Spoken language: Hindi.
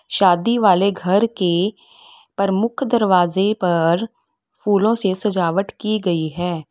शादी वाले घर के प्रमुख दरवाजे पर फूलों से सजावट की गई है।